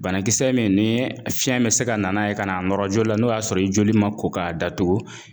Banakisɛ min ni fiɲɛ bɛ se ka na n'a ye ka n'a nɔrɔ joli la n'o y'a sɔrɔ i joli ma ko k'a datugu.